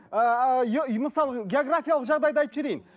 ыыы мысалы географиялық жағдайды айтып жіберейін